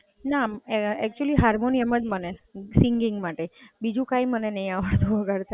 ના, actually harmonium જ મને, સિંગિંગ માટે, બીજું કઈ મને નહીં આવડતું વગાડતા.